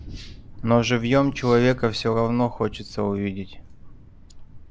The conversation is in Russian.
но живьём человека всё равно хочется увидеть